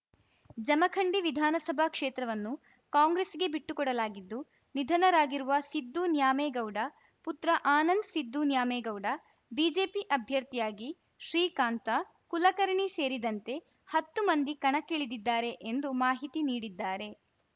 ಜಮಖಂಡಿ ವಿಧಾನಸಭಾ ಕ್ಷೇತ್ರವನ್ನು ಕಾಂಗ್ರೆಸ್‌ಗೆ ಬಿಟ್ಟು ಕೊಡಲಾಗಿದ್ದು ನಿಧನರಾಗಿರುವ ಸಿದ್ದು ನ್ಯಾಮೇಗೌಡ ಪುತ್ರ ಆನಂದ್‌ ಸಿದ್ದು ನ್ಯಾಮೇಗೌಡ ಬಿಜೆಪಿ ಅಭ್ಯರ್ಥಿಯಾಗಿ ಶ್ರೀಕಾಂತ ಕುಲಕರ್ಣಿ ಸೇರಿದಂತೆ ಹತ್ತು ಮಂದಿ ಕಣಕ್ಕಿಳಿದಿದ್ದಾರೆ ಎಂದು ಮಾಹಿತಿ ನೀಡಿದ್ದಾರೆ